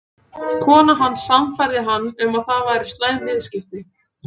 Konan hans sannfærði hann um að það væru slæm viðskipti.